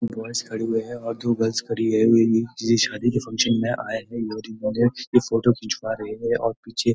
boys खड़े हुए हैंऔर दो गर्ल्स खड़ी हुई हैंये शादी के फंक्शन में आए हैं इन्होंने मुझे एक फोटो खिचवा रहें हैं और पीछे --